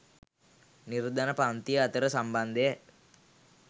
නිර්ධන පංතිය අතර සම්බන්ධය